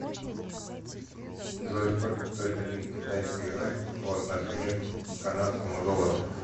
джой сколько стоит один китайский юань по отношению к канадскому доллару